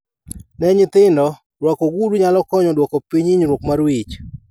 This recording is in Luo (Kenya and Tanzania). Ne nyithindo, rwako ogudu nyalo konyo duoko piny inyruok mar wich